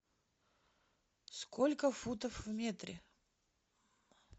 сколько футов в метре